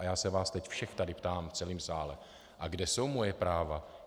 A já se vás teď všech tady ptám v celém sále - a kde jsou moje práva?